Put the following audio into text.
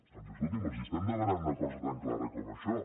doncs escolti’m els estem demanant una cosa tan clara com això